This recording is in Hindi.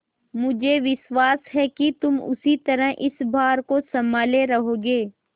मुझे विश्वास है कि तुम उसी तरह इस भार को सँभाले रहोगे